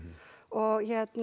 og